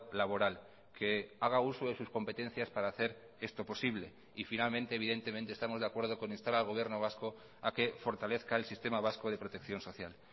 laboral que haga uso de sus competencias para hacer esto posible y finalmente evidentemente estamos de acuerdo con instar al gobierno vasco a que fortalezca el sistema vasco de protección social